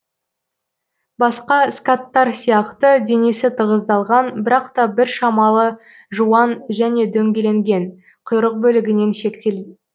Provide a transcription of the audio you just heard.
басқа скаттар сияқты денесі тығыздалған бірақ та біршамалы жуан және дөңгеленген құйрық бөлігінен шектел